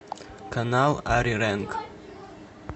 канал ари рэнг